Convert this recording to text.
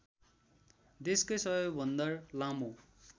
देशकै सबैभन्दा लामो